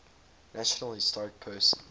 national historic persons